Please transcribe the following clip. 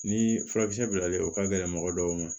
Ni furakisɛ bilalen o ka gɛlɛn mɔgɔ dɔw kan